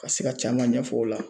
Ka se ka caman ɲɛf'o la